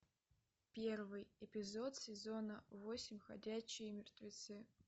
первый эпизод сезона восемь ходячие мертвецы